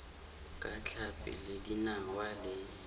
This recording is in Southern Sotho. ka tlhapi le dinawa le